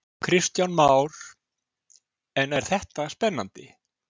Kristján Már: En er þetta spennandi?